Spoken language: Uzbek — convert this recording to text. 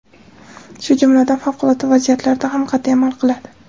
shu jumladan favqulodda vaziyatlarda ham qat’iy amal qiladi.